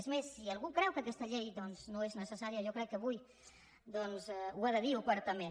és més si algú creu que aquesta llei doncs no és necessària jo crec que avui ho ha de dir obertament